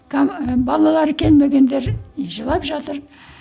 ы балалары келмегендер жылап жатыр